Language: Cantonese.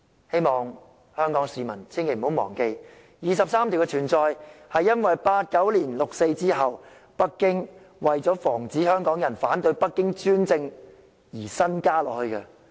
希望香港市民千萬不要忘記第二十三條的存在是因為1989年六四事件後，北京為防止香港人反對其專政而新增的。